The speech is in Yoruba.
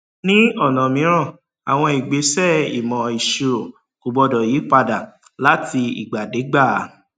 ní ọnà mìíràn àwọn ìgbésẹ ìmọ ìṣirò kò gbọdọ yí padà láti ìgbàdégbà